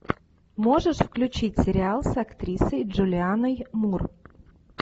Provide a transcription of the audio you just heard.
можешь включить сериал с актрисой джулианной мур